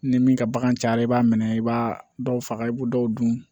Ni min ka bagan cayara i b'a minɛ i b'a dɔw faga i b'o dɔw dun